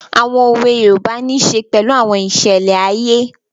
Àwọn òwe yoòbá nisè pẹ̀lú àwọn ìṣẹlẹ̀ ayé